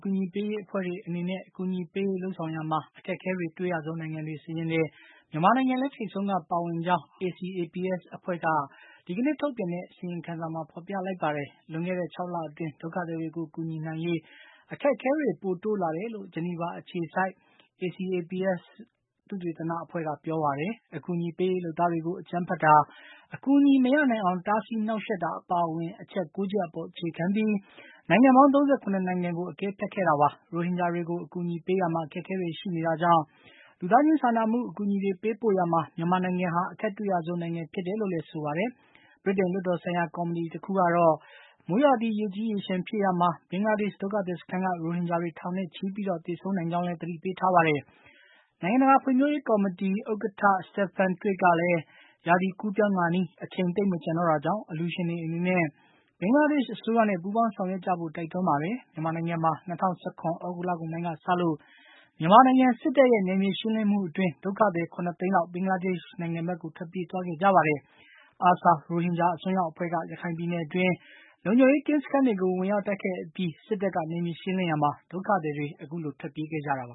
ကူညီရေး အဖွဲ့တွေအနေနဲ့ အကူအညီပေးရေးဆောင်ရွက်ရာမှာ အခက်အခဲအတွေ့ရဆုံးနိုင်ငံတွေ စာရင်းထဲမှာ မြန်မာနိုင်ငံလည်း ထိပ်ဆုံးကပါဝင်ကြောင်း ACAPS အဖွဲ့က အင်္ဂါနေ့က ထုတ်ပြန်တဲ့အစီရင်ခံစာမှာ ဖေါ်ပြထားပါတယ်။ လွန်ခဲ့တဲ့ ၆ လအတွင်း ဒုက္ခသည်တွေကို ကူညီနိုင်ရေး အခက်အခဲတွေ ပိုတိုးလာတယ်လို့ Geneva အခြေစိုက် ACAPS သုတေသနအဖွဲ့က ပြောပါတယ်။ အကူအညီပေးရေး လုပ်သားတွေကို အကြမ်းဖက်တာ၊ အကူအညီမရနိုင်အောင်တားဆီးနှောက်ယှက်တာ အပါအဝင် အချက် ၉ ချက်အပေါ် အခြေခံပြီး နိုင်ငံပေါင်း ၃၇ နိုင်ငံကို အကဲဖြတ်ခဲ့တာပါ။ ရိုဟင်ဂျာတွေကို အကူအညီပေးရာမှာ အခက်အခဲတွေရှိနေတာကြောင့် လူသားချင်းစာနာမှုအကူအညီတွေ ပေးပို့ရာမှာ မြန်မာနိုင်ငံဟာ အခက်တွေ့ရဆုံးနိုင်ငံဖြစ်တယ်လို့လည်း ဆိုပါတယ်။ ဗြိတိန်လွှတ်တော်ဆိုင်ရာ ကော်မတီတခုကတော့ မိုးရာသီ ရေကြီးရေလျှံဖြစ်ရာမှာ ဘင်္ဂလာဒေ့ရှ်ဒုက္ခသည်စခန်းက ရိုဟင်ဂျာတွေ ထောင်နဲ့ချီပြီး သေဆုံးနိုင်ကြောင်း သတိပေးထားပါတယ်။ နိုင်ငံတကာဖွံ့ဖြိုးရေးကော်မတီ ဥက္ကဌ Stephen Twigg ကလည်း ရာသီကူးပြောင်းခါနီး အချိန်သိပ်မကျန်တော့တာကြောင့် အလှူရှင်တွေအနေနနဲ့ ဘင်္ဂလားဒေ့ရှ်အစိုးရနဲ့ ပူးပေါင်းဆေင်ရွက်ကျဖို့ တိုက်တွန်းပါတယ်။ မြန်မာနိုင်ငံမှာ ၂၀၁၇ သြဂုတ်လကုန်ပိုင်းကစလို့ မြန်မာနိုင်ငံ စစ်တပ်ရဲ့ နယ်မြေရှင်းလင်းမှုအတွင်း ဒုက္ခသည် ၇ သိန်းလောက် ဘင်္ဂလားဒေ့ရှ်နိုင်ငံဘက်ကို ထွက်ပြေးသွားခဲ့ကြပါတယ်။ ARSA ရိုဟင်ဂျာ အစွန်းရောက်အဖွဲ့က ရခိုင်ပြည်နယ်အတွင်း လုံခြုံရေးကင်းစခန်းတွေကို ဝင်ရောက်တိုက်ခိုက်အပြီး စစ်တပ်က နယ်မြေရှင်းလင်းရာမှာ ဒုက္ခသည်တွေ အခုလို ထွက်ပြေးခဲ့ကြတာပါ